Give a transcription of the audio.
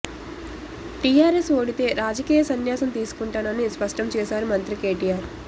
TRS ఓడితే రాజకీయ సన్యాసం తీసుకుంటానని స్పష్టం చేశారు మంత్రి కేటీఆర్